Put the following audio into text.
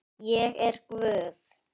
Ég er guð.